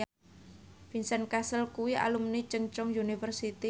Vincent Cassel kuwi alumni Chungceong University